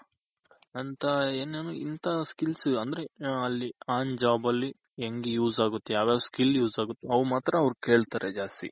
ಅಂತ ಏನೇನು ಇಂತ skills ಅಂದ್ರೆ ಅಲ್ಲಿ on job ಅಲ್ಲಿ ಹೆಂಗ್ use ಆಗುತ್ತೆ ಯಾವ್ ಯಾವ್ skill use ಆಗುತೆ ಅವ ಮಾತ್ರ ಅವ್ರ ಕೇಳ್ತಾರೆ ಜಾಸ್ತಿ.